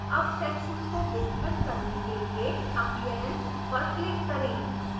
अब section को विस्तृत करने के लिए appearance पर click करें